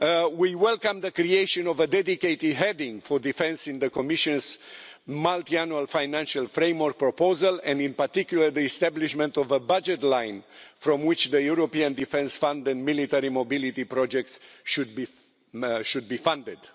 We welcome the creation of a dedicated heading for defence in the Commission's Multiannual Financial Framework proposal and, in particular, the establishment of a budget line from which the European Defence Fund and military mobility projects should be funded.